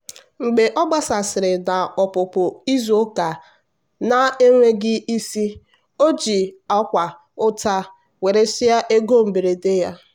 mgbe ọ gbasasịrị na ọpụpụ izu ụka na-enweghị isi o ji akwa ụta weresịa ego mberede ya.